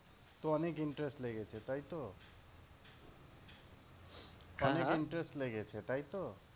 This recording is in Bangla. তো অনেক interest লেগেছে তাইতো? অনেক interest লেগেছে তাইতো?